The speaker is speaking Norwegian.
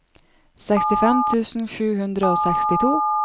sekstifem tusen sju hundre og sekstito